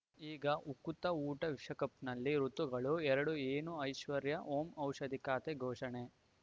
ಈಗ ಉಕುತ ಊಟ ವಿಶ್ವಕಪ್‌ನಲ್ಲಿ ಋತುಗಳು ಎರಡು ಏನು ಐಶ್ವರ್ಯಾ ಓಂ ಔಷಧಿ ಖಾತೆ ಘೋಷಣೆ